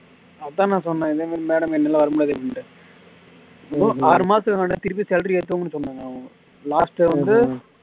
அதான் நான் சொன்னேன் இதே மாதிரி madam என்னால எல்லாம் வர முடியாது அப்படின்னுட்டு ஆறு மாசத்துக்கு முன்னாடி திருப்பி salary ஏத்துவாங்கன்னு சொன்னாங்க அவுங்க last வந்து